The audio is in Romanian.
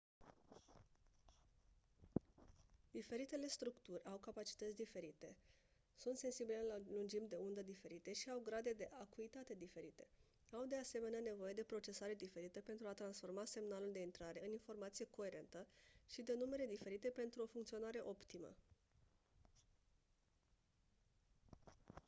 diferitele structuri au capacități diferite sunt sensibile la lungimi de undă diferite și au grade de acuitate diferite au de asemenea nevoie de procesare diferită pentru a transforma semnalul de intrare în informație coerentă și de numere diferite pentru o funcționare optimă